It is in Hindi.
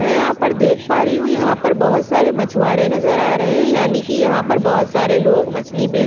में यहाँ पर देख पा रही हु यहाँ पर बहुत सारे मछुवारे नज़र आ रहे है यानी की यहाँ पर बहुत सारे लोग मछली बेच --